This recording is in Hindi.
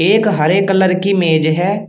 एक हरे कलर की मेज है।